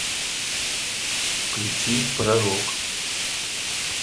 включи пророк